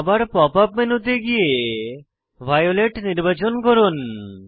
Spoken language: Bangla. আবার পপ আপ মেনুতে গিয়ে ভায়োলেট নির্বাচন করুন